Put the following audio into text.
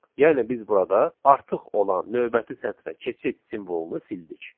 Yəni biz burada artıq olan növbəti sətrə keçid simvolunu sildik.